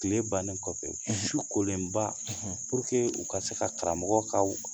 Kile bannen kɔfɛ; ; Su kolenba; u ka se ka karamɔgɔ ka